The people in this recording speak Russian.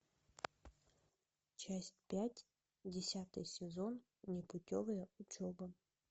часть пять десятый сезон непутевая учеба